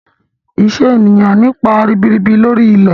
Iṣẹ́ ènìyàn nípa ribirib lori ilẹ̀.